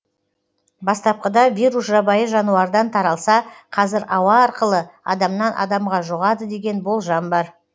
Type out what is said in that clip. бастапқыда вирус жабайы жануардан таралса қазір ауа арқылы адамнан адамға жұғады деген болжам бар